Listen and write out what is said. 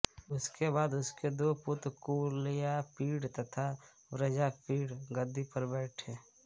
उसके बाद उसके दो पुत्र कुवलयापीड़ तथा वज्रापीड़ गद्दी पर बैठे